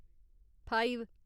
five